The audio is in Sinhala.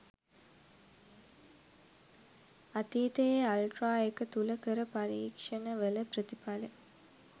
අතීතයේ අල්ට්‍රා එක තුල කල පරික්ෂන වල ප්‍රථිපල